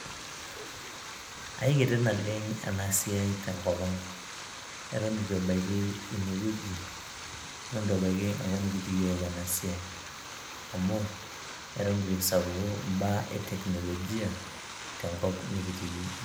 Aikiti naleng ena siai te nkopang eton itu ebaiki ine wueji . eton itu ebaiki enkop nikitii yiook ena siai , amu eton itu esapuku imbaa e teknolojia tenkop nikitii .